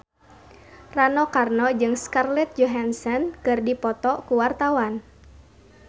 Rano Karno jeung Scarlett Johansson keur dipoto ku wartawan